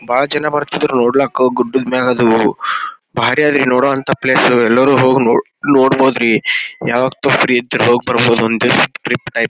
ಬಹಳ ಜನ ಬರತಿದ್ರು ನೊಡ್ಲಕ್ ಗುಡ್ಡದ್ ಮೇಲ ಅದು ಭಾರಿ ಅದ ರೀ ನೋಡುವಂತಹ ಪ್ಲೇಸ್ ಎಲ್ಲರು ಹೋಗಿ ನೋಡ್ ನೋಡ್ ಬಹುದು ರೀ ಯಾವತ್ತೂ ಫ್ರೀ ಇದ್ರೆ ಹೋಗಿ ಬರ್ಬಹುದು ಟ್ರಿಪ‌ ಟೈಪ್ --